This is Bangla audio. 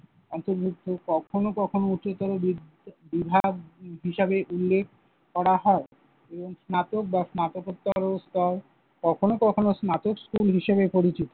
অন্তর্ভুক্ত। কখনো কখনো উচ্চতর বি~ বিভাগ হিসেবে উল্লেখ করা হয় এবং স্নাতক বা স্নাতকোত্তর স্তর কখনো কখনো স্নাতক স্কুল হিসাবে পরিচিত।